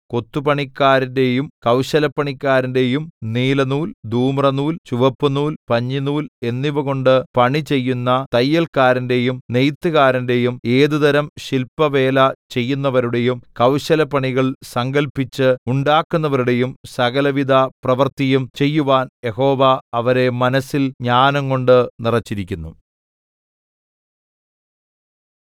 കൊത്തുപണിക്കാരന്റെയും കൗശലപ്പണിക്കാരന്റെയും നീലനൂൽ ധൂമ്രനൂൽ ചുവപ്പുനൂൽ പഞ്ഞിനൂൽ എന്നിവകൊണ്ട് പണിചെയ്യുന്ന തയ്യൽക്കാരന്റെയും നെയ്ത്തുകാരന്റെയും ഏതുതരം ശില്പവേല ചെയ്യുന്നവരുടെയും കൗശലപ്പണികൾ സങ്കല്പിച്ച് ഉണ്ടാക്കുന്നവരുടെയും സകലവിധപ്രവൃത്തിയും ചെയ്യുവാൻ യഹോവ അവരെ മനസ്സിൽ ജ്ഞാനംകൊണ്ട് നിറച്ചിരിക്കുന്നു